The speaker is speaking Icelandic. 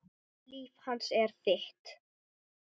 Líf hans er þitt.